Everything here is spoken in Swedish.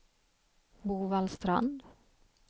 Bovallstrand